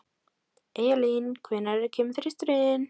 Eyjalín, hvenær kemur þristurinn?